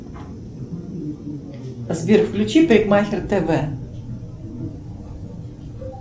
сбер включи парикмахер тв